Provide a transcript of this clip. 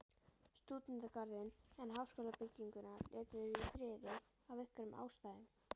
Stúdentagarðinn, en háskólabygginguna létu þeir í friði af einhverjum ástæðum.